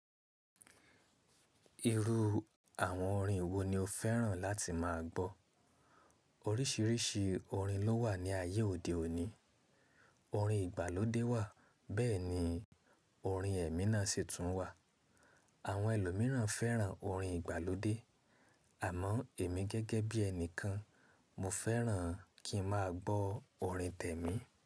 Irú àwọn orin wo ni o fẹ́ràn láti máa gbọ́? Oríṣiríṣi orin ló wà ní ayé òde òní. Orin ìgbàlódé wà bẹ́ẹ̀ ni orin èmi náa sì tún wà. Àwọn ẹlòmíràn fẹ́ràn orin ìgbàlódé àmọ́ èmi gẹ́gẹ́ bí ẹni kan, mo fẹ́ràn kí n máa gbọ́ orin t'ẹ̀mí.